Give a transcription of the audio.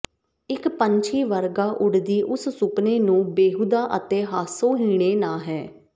ਇੱਕ ਪੰਛੀ ਵਰਗਾ ਉੱਡਦੀ ਉਸ ਸੁਪਨੇ ਨੂੰ ਬੇਹੂਦਾ ਅਤੇ ਹਾਸੋਹੀਣੇ ਨਾ ਹੈ